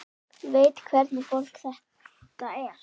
Veit hvernig fólk þetta er.